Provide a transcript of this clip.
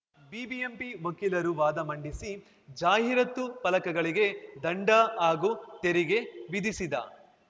BBMP ವಕೀಲರು ವಾದ ಮಂಡಿಸಿ ಜಾಹೀರಾತು ಫಲಕಗಳಿಗೆ ದಂಡ ಹಾಗೂ ತೆರಿಗೆ ವಿಧಿಸಿದ